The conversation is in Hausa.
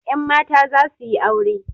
Yan mata za su yi aure.